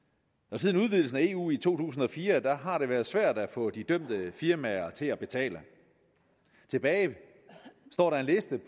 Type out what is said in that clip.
siden udvidelsen af eu i to tusind og fire har det været svært at få de dømte firmaer til at betale tilbage